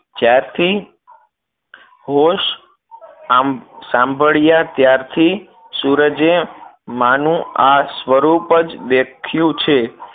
જ્યાર થી હોશ સાંભળીયા ત્યાર થી સૂરજે માં નું આ સ્વરૂપ જ દેખ્યું છે